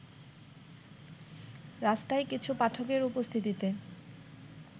রাস্তায় কিছু পাঠকের উপস্থিতিতে